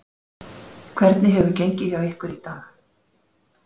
Hvernig hefur gengið hjá ykkur í dag?